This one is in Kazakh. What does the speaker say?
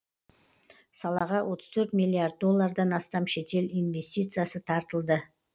салаға отыз төрт миллиард доллардан астам шетел инвестициясы тартылып